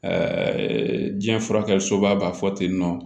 diɲɛ furakɛli soba b'a fɔ tennɔ